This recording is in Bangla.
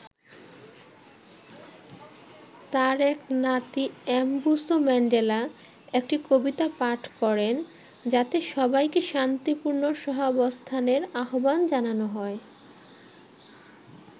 তাঁর এক নাতি এমবুসো ম্যান্ডেলা একটি কবিতা পাঠ করেন যাতে সবাইকে শান্তিপূর্ণ সহাবস্থানের আহ্বান জানানো হয়।